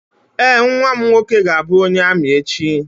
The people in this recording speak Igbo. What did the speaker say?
Ee, nnwa m nwoke ga-abụ onye amị echi.